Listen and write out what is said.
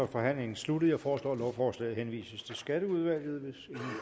forhandlingen sluttet jeg foreslår at lovforslaget henvises til skatteudvalget hvis